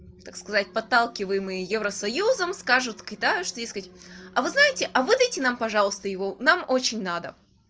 так сказать подталкиваемые евросоюзом скажут китаю что дескать а вы знаете о выдайте нам пожалуйста его нам очень надо